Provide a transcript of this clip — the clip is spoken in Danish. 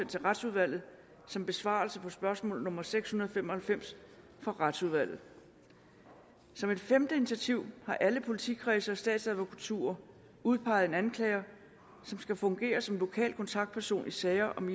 til retsudvalget som besvarelse på spørgsmål nummer seks hundrede og fem og halvfems fra retsudvalget som et femte initiativ har alle politikredse og statsadvokaturer udpeget en anklager som skal fungere som lokal kontaktperson i sager om